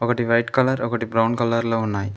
ఒకటి white colour ఒకటి brown colour లో ఉన్నాయి.